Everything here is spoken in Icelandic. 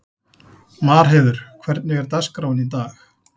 Marheiður, hvernig er dagskráin í dag?